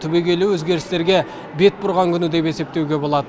түбегейлі өзгерістерге бет бұрған күні деп есептеуге болады